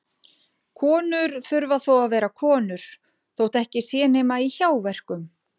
Konur þurfa þó að vera konur þótt ekki sé nema í hjáverkum.